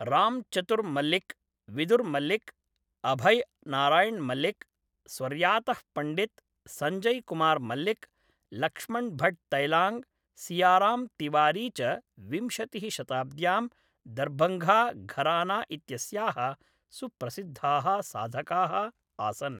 राम् चतुर् मल्लिक्, विदुर् मल्लिक्, अभय् नारायण् मल्लिक्, स्वर्यातः पण्डित् सञ्जय् कुमार् मल्लिक्, लक्ष्मण् भट्ट् तैलाङ्ग्, सियाराम् तिवारी च विंशतिः शताब्द्यां, दर्भङ्गा घराना इत्यस्याः सुप्रसिद्धाः साधकाः आसन्।